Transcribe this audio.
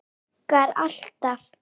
Virkar alltaf!